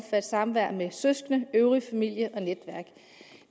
samvær med søskende øvrige familie og netværk